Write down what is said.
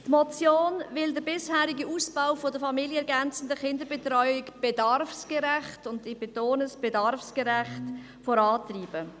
Die Motion will den bisherigen Ausbau der familienergänzenden Kinderbetreuung bedarfsgerecht – ich betone: bedarfsgerecht – vorantreiben.